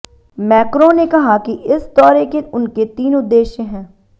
Macron ने कहा कि इस दौरे के उनके तीन उद्देश्य हैं